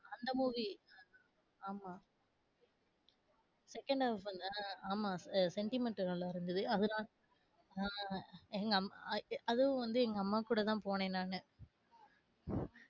நல்ல movie ஆமா second half வந்து ஆஹ் ஆமா ஆ sentiment நல்லா இருந்தது, அதெல்லா உம் எங்க அம்மா அ இ, அதும் வந்து எங்க அம்மாக்கூட தான் போனேன் நானு .